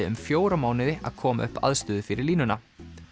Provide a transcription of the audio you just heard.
um fjóra mánuði að koma upp aðstöðu fyrir línuna